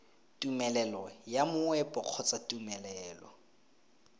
tumelelo ya moepo kgotsa tumelelo